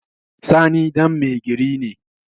Sani ɗan mai gari ne